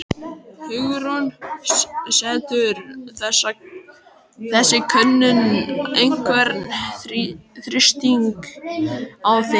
Hugrún: Setur þessi könnun einhvern þrýsting á þig?